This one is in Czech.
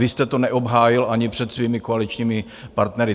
Vy jste to neobhájil ani před svými koaličními partnery.